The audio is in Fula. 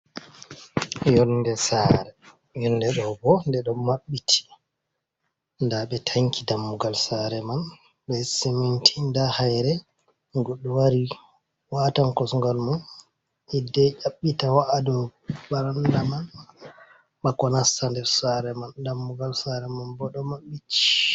Yonɗe sare ,yonɗe ɗo ɓo ɗe ɗo maɓɓiti ɗa ɓe tanki ɗammugal sare man ɓe siminti ,ɗa haire goɗɗo wari watan kosugal mun hiɗɗe ƴabbita wa’aɗo ɓaranɗa man, bako nasta nɗer sare man ɗammugal sare man ɓo ɗo maɓɓiti.